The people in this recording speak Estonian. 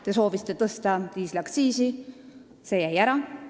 Te soovisite diisliaktsiisi tõsta, see jäi ära.